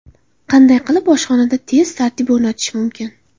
Qanday qilib oshxonada tez tartib o‘rnatish mumkin?.